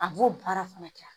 A b'o baara fana kɛ